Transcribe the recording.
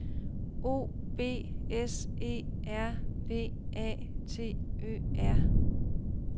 O B S E R V A T Ø R